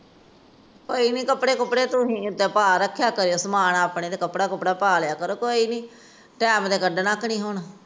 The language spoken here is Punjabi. ਕੋਈ ਨਹੀਂ ਕੱਪੜੇ ਕਪੂੜੇ ਧੋਣੇ ਹੋਣ ਰੱਖਿਆ ਤਾਂ ਹੈ ਸਮਾਨ ਆਪਣੇ ਤੇ ਕੱਪੜਾ ਕੁਪੜਾ ਪਾ ਲਿਆ ਕਰੋ ਕੋਈ ਨੀ ਟੈਮ ਤੇ ਕੱਢਣਾ ਕਿ ਨੀ ਹੁਣ